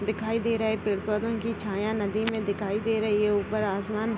दिखाई दे रहा है पेड़ पौधो की छाया नदी मे दिखाई दे रही है | ऊपर आसमान --